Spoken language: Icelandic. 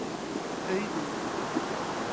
Auðunn